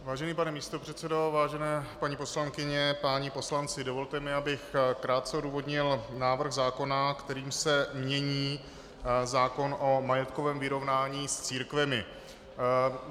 Vážený pane místopředsedo, vážené paní poslankyně, páni poslanci, dovolte mi, abych krátce odůvodnil návrh zákona, kterým se mění zákon o majetkovém vyrovnání s církvemi.